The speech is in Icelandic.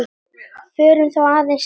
Förum þá aðeins til baka.